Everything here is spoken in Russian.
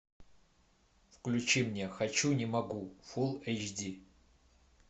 включи мне хочу не могу фул эйч ди